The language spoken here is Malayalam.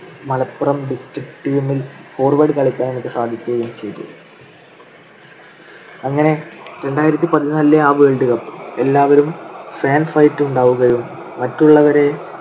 മലപ്പുറം district team ൽ forward കളിയ്ക്കാൻ എനിക്ക് സാധിക്കുകയും ചെയ്തു. അങ്ങനെ രണ്ടായിരത്തി പതിനാലിലെ ആ world cup എല്ലാവരും fan fight ഉണ്ടാവുമെങ്കിലും മറ്റുള്ളവരെ